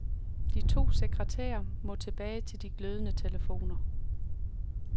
De to sekretærer må tilbage til de glødende telefoner.